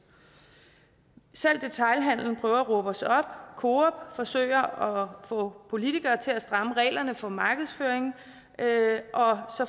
selv detailhandelen prøver at råbe os op coop forsøger at få politikere til at stramme reglerne for markedsføring